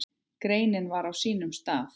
Greinin var á sínum stað.